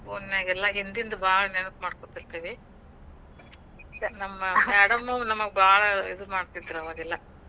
Phone ನ್ಯಾಗೆಲ್ಲ ಹಿಂದಿಂದ ಭಾಳ್ ನೆನಪ್ ಮಾಡ್ಕೋತಿರ್ತಿವಿ. ನಮ್ madam ಉ, ಬಾಳ್ ಇದು ಮಾಡತಿದ್ರ ಅವಾಗೆಲ್ಲಾ